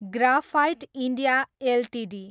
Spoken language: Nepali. graphite India Ltd